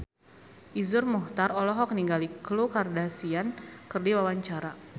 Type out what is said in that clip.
Iszur Muchtar olohok ningali Khloe Kardashian keur diwawancara